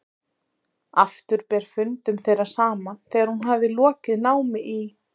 Aftur ber fundum þeirra saman þegar hún hafði lokið námi í